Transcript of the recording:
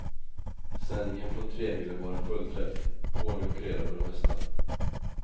Sändningen från tremilen var en fullträff, ordning och reda på det mesta.